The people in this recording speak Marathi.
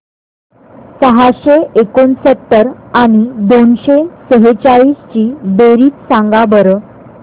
सहाशे एकोणसत्तर आणि दोनशे सेहचाळीस ची बेरीज सांगा बरं